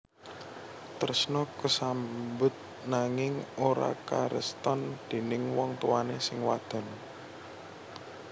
Tresna kasambut nanging ora kareston déning wong tuwané sing wadon